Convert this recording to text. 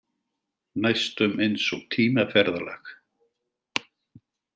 Næstum eins og tímaferðalag.